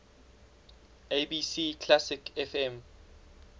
abc classic fm